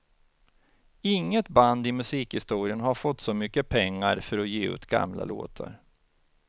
Inget band i musikhistorien har fått så mycket pengar för att ge ut gamla låtar.